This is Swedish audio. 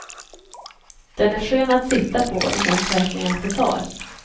Den är skön att sitta på och det känns verkligen att det tar.